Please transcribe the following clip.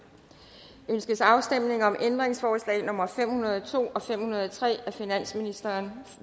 ønskes afstemning om ændringsforslag nummer fem hundrede og to og fem hundrede og tre af finansministeren